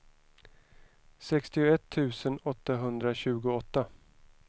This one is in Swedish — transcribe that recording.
sextioett tusen åttahundratjugoåtta